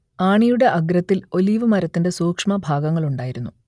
ആണിയുടെ അഗ്രത്തിൽ ഒലീവ് മരത്തിന്റെ സൂക്ഷ്മഭാഗങ്ങളുണ്ടായിരുന്നു